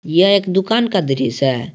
यह एक दुकान का दृश्य है।